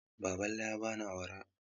Baballe ya bani awara.